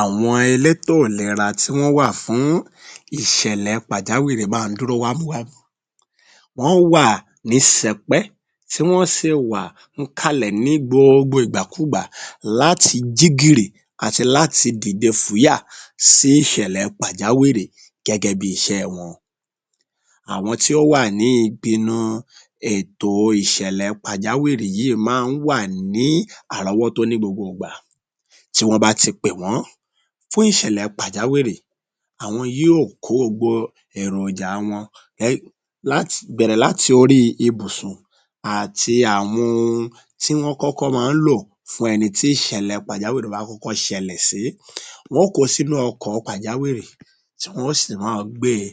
Àwọn elétò ìlera tí wọ́n wà fún ìṣẹ̀lẹ̀ pàjáwìrì ma ń dúró wà mu wa...wọ́n wà ní sẹpẹ́ tí wọ́n sì wà ń’kàlẹ̀ ní gbogbo ìgbàkúùgbà láti jí gìrì àtí láti dìde fùúyà sí ìṣẹlẹ̀ pàjáwìrì gẹ́gẹ́ bí iṣẹ́ ẹ wọn. Àwọn tí ó wà ní ibinu ètò iṣẹ̀lẹ̀ pàjáwìrì yìí má n wà ní àrọ́wọ́tó ní gbogbo ìgbà tí wọ́n bá ti pè wọ́n fún ìṣẹlẹ̀ pàjáwìrì àwọn yóò kó gbogbo èròjà a wọn bẹ̀rẹ̀ látí ibi orí ibùsùn àti àwọn ohun tí wọ́n kókọ́ ma ń lò fún ẹni tí ìṣẹ̀lẹ̀ pàjáwìrì bá kọ́kọ́ ṣẹlẹ̀ sí, wọ́n ko sínú ọkọ̀ pàjáwìrì tí wọ́n sì máa gbé e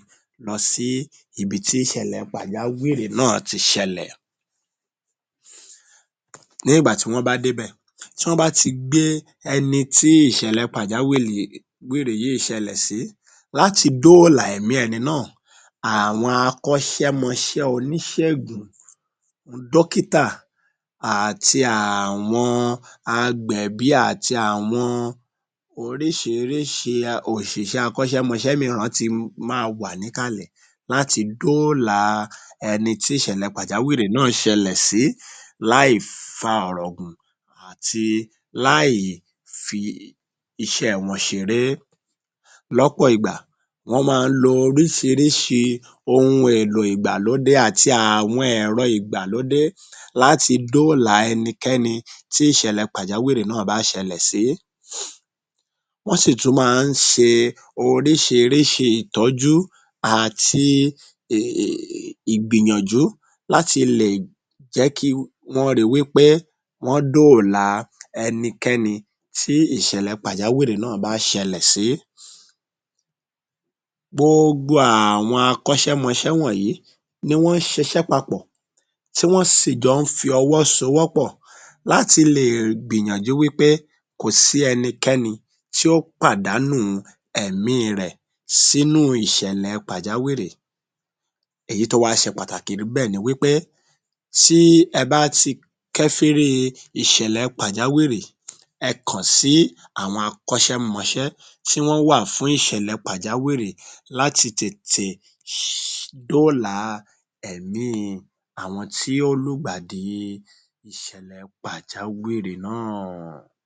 lọ sí ibi tí ìṣẹ̀lẹ̀ pàjáwìrì náà ti ṣẹlẹ̀. Ní ìgbà tí wọ́n bá dé’bẹ̀ tí wọ́n bá ti gbé ẹni tí ìṣẹlẹ̀ pàjáwìrì yìí ṣẹlẹ̀ sí láti dóòlà ẹ̀mí ẹni náà àwọn akọ́ṣẹmọṣẹ́ oníṣègùn, dọ́kítà, àti àwọn agbẹ̀bí, àti àwọn oríṣiríṣi òṣìṣẹ́ akọ́ṣẹ́mọṣé míràn ti ma wà níkàlẹ̀ láti dóòlà ẹni tí ìṣẹ̀lẹ̀ pàjáwìrì náà ṣẹlẹ̀ sí láì fa ọ̀rọ̀ gùn àti láì fi iṣẹ́ wọn ṣeré. Lọ́pọ̀ ìgbà wọ́n ma ń lo oríṣiríṣi àwọn ohun èlò ìgbàlódé àti àwọn ẹ̀rọ ìgbàlódé láti dóòlà ẹnikẹ́ni tí ìṣẹlẹ̀ pàjáwìrì náà bá ṣẹlẹ̀ sí, wọ́n sì tún ma ń ṣe oríṣiríṣi ìtọ́jú àti ìgbìyànjú láti lè jẹ́ kí wọ́n ri wí pé wọ́n dóòlà ẹnikẹ́ni tí ìṣẹlẹ̀ pàjáwìrì náà bá ṣẹlẹ̀ sí. Gboogbo àwọn akọ́ṣẹmọṣẹ́ wọ̀nyí ni wọ́n jọ ń ṣiṣẹ́ papọ̀ tí wọ́n sì jọ ń fi wọ́ sowó pọ̀ láti ri wí pé kò sí ẹnikẹ́ni tí ó pàdánù ẹ̀mí i rẹ̀ sínú ìṣẹlẹ̀ pàjáwìrì. Èyí tó wá ṣe pàtàkì jùlọ níbẹ̀ ni wí pé tí ẹ bá ti kẹ́fírí ìṣẹ̀lẹ̀ pàjáwìrì ẹ kàn sí àwọn akọ́ṣẹmọṣẹ́ tí wọ́n wà fún ìṣélẹ̀ pàjáwìrì láti tètè dóòlà ẹ̀mí i àwọn tí ó lùgbàdi ìṣẹ̀lẹ̀ pàjáwìrì náà.